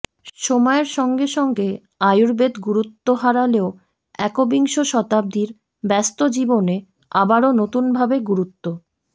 সময়ের সঙ্গে সঙ্গে আয়ুর্বেদ গুরুত্ব হারালেও একবিংশ শতাব্দীর ব্যস্ত জীবনে আবারও নতুন ভাবে গুরুত্ব